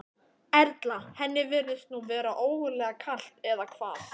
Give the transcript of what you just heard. Erla: Henni virðist nú vera ógurlega kalt, eða hvað?